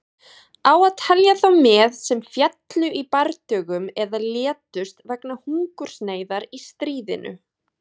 Á að telja þá með sem féllu í bardögum eða létust vegna hungursneyðar í stríðinu?